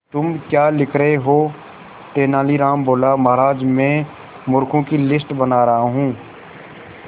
तुम क्या लिख रहे हो तेनालीराम बोला महाराज में मूर्खों की लिस्ट बना रहा हूं